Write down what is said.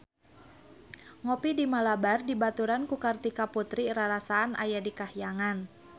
Ngopi di Malabar dibaturan ku Kartika Putri rarasaan aya di kahyangan